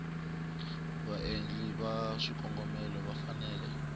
vaendli va swikombelo va fanele